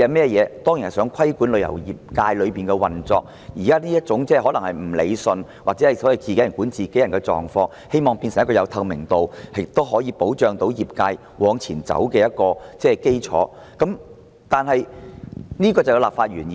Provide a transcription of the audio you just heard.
《條例草案》當然旨在規管旅遊業界的運作，希望把現時這種所謂"自己人管自己人"的情況，變成一個有透明度亦可保障業界往前走的制度，這就是其立法原意。